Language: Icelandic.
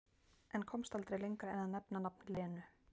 En komst aldrei lengra en að nefna nafn Lenu